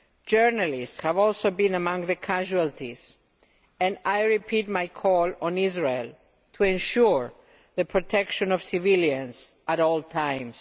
Journalists have also been among the casualties and I repeat my call to Israel to ensure the protection of civilians at all times.